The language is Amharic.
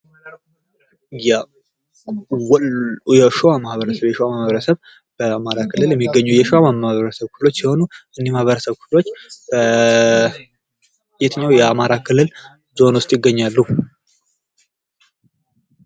የሸዋ ማህበረሰብ :- የሸዋ ማህበረሰብ በአማራ ክልል የሚገኙ የሸዋ ማህበረሰብ ክፍሎች ሲሆኑ እነዚህ ማህበረሰብ በየትኛዉ ዞን ዉስጥ ይገኛሉ?